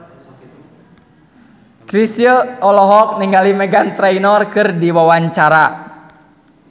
Chrisye olohok ningali Meghan Trainor keur diwawancara